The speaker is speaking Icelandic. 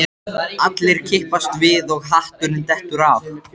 Sérstakur stofnfundur er nauðsynlegur í sérhverju hlutafélagi.